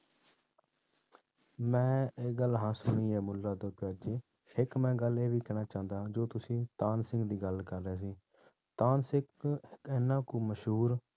ਮੈਂ ਇੱਕ ਗੱਲ ਹਾਂ ਸੁਣੀ ਹੈ ਮੁੱਲਾ ਦੋ ਪਿਆਜ਼ਾ, ਇੱਕ ਮੈਂ ਗੱਲ ਇਹ ਵੀ ਕਹਿਣਾ ਚਾਹੁੰਦਾ ਹਾਂ ਜੋ ਤੁਸੀਂ ਤਾਨਸੇਨ ਦੀ ਗੱਲ ਕਰ ਰਹੇ ਸੀ, ਤਾਨਸੇਨ ਇੱਕ ਇੰਨਾ ਕੁ ਮਸ਼ਹੂਰ,